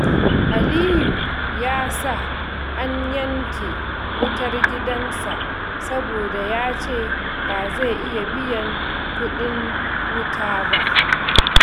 Aliyu ya sa an yanke wutar gidansa saboda ya ce ba zai iya biyan kuɗin wuta ba.